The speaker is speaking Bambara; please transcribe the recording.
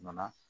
Nana